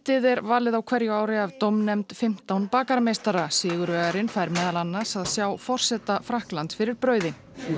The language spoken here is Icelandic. ið er valið á hverju ári af dómnefnd fimmtán bakarameistara sigurvegarinn fær meðal annars að sjá forseta Frakklands fyrir brauði